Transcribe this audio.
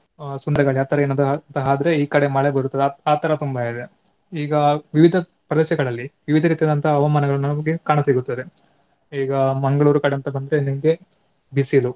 ಅಹ್ ಸುಂಟರಗಾಳಿ ಆ ತರ ಎಂತಾದ್ರೂ ಆದ್ರೆ ಈ ಕಡೆ ಮಳೆ ಬರುತ್ತದೆ ಆ ಆತರ ತುಂಬಾ ಇದೆ ಈಗ ವಿವಿಧ ಪ್ರದೇಶಗಳಲ್ಲಿ ವಿವಿಧ ರೀತಿಯಾದಂತಹ ಹವಾಮಾನಗಳು ನಮಗೆ ಕಾಣಸಿಗುತ್ತದೆ. ಈಗ ಮಂಗಳೂರು ಕಡೆ ಅಂತ ಬಂದ್ರೆ ನಿಮ್ಗೆ ಬಿಸಿಲು.